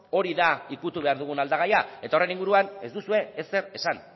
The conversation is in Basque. hori da ukitu behar dugun aldagaia eta horren inguruan ez duzue ezer esan